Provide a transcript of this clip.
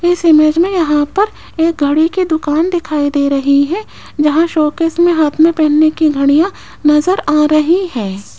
इस इमेज में यहां पर एक घड़ी की दुकान दिखाई दे रही है जहां शो केस में हाथ में पहनने की घड़ियां नजर आ रही हैं।